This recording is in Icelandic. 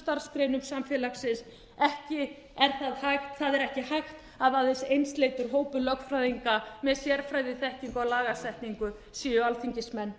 starfsgreinum samfélagsins ekki er það hægt það er ekki hægt að aðeins einsleitur hópur lögfræðinga með sérfræðiþekkingu á lagasetningu séu alþingismenn